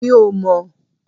Mi ò mò